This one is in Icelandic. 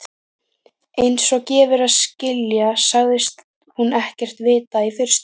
Einsog gefur að skilja sagðist hún ekkert vita í fyrstu.